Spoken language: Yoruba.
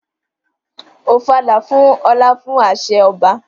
Ofala fún ọlá fún àṣẹ ọba.